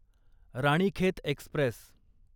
Ranikhet Express